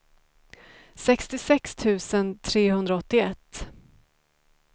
sextiosex tusen trehundraåttioett